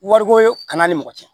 Wariko kana ni mɔgɔ cɛ